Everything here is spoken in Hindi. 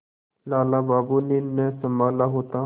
लाला बाबू ने न सँभाला होता